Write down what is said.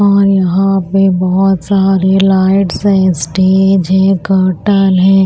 और यहां पे बहुत सारे लाइट्स है स्टेज है कर्टन है।